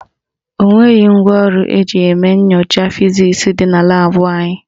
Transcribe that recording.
O nweghị ngwaọrụ eji eme nyocha fizisi dị na laabụ anyị